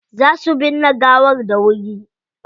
Za su binne gawar dawuri.